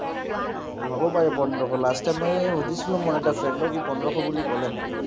হ’ব পাৰে পোন্ধৰশ। last time মই সুধিছিলো মোৰ এটা friend ক। ই পোন্ধৰশ বুলি ক’লে মোক।